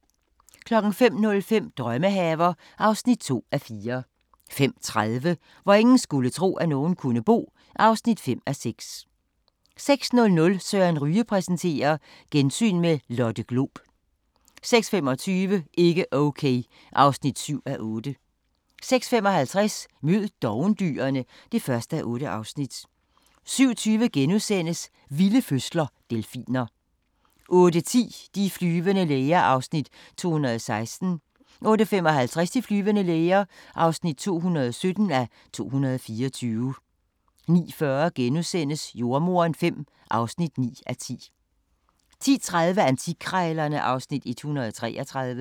05:05: Drømmehaver (2:4) 05:30: Hvor ingen skulle tro, at nogen kunne bo (5:6) 06:00: Søren Ryge præsenterer: Gensyn med Lotte Glob 06:25: Ikke Okay (7:8) 06:55: Mød dovendyrene (1:8) 07:20: Vilde fødsler – Delfiner * 08:10: De flyvende læger (216:224) 08:55: De flyvende læger (217:224) 09:40: Jordemoderen V (9:10)* 10:30: Antikkrejlerne (Afs. 133)